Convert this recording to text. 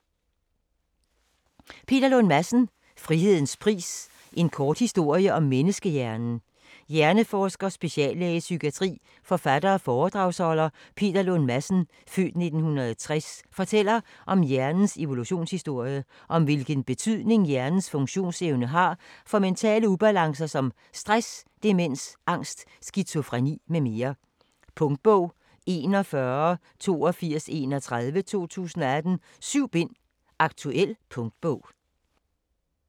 Lund Madsen, Peter: Frihedens pris - en kort historie om menneskehjernen Hjerneforsker, speciallæge i psykiatri, forfatter og foredragsholder Peter Lund Madsen (f. 1960) fortæller om hjernens evolutionshistorie, og om hvilken betydning hjernens funktionsevne har for mentale ubalancer som stress, demens, angst, skizofreni mm. Punktbog 418231 2018. 7 bind. Aktuel punktbog